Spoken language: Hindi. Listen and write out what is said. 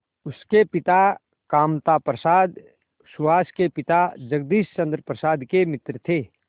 उसके पिता कामता प्रसाद सुहास के पिता जगदीश चंद्र प्रसाद के मित्र थे